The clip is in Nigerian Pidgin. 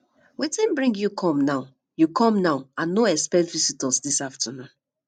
wetin bring you come now you come now i no expect visitors this afternoon